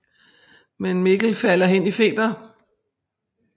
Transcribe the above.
Men Mikkel falder hen i feber